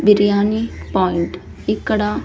biryani point ఇక్కడ--